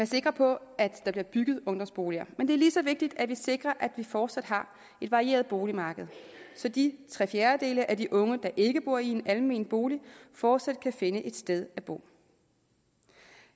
sikre på at der bliver bygget ungdomsboliger men det er lige så vigtigt at vi sikrer at vi fortsat har et varieret boligmarked så de tre fjerdedele af de unge der ikke bor i en almen bolig fortsat kan finde et sted at bo